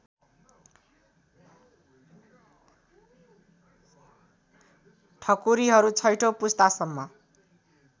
ठकुरीहरू छैठौँ पुस्तासम्म